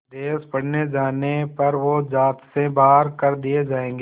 विदेश पढ़ने जाने पर वो ज़ात से बाहर कर दिए जाएंगे